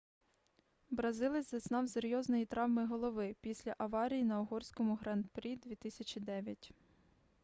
бразилець зазнав серйозної травми голови після аварії на угорському гран-прі 2009